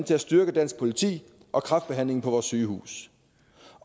til at styrke dansk politi og kræftbehandlingen på vores sygehuse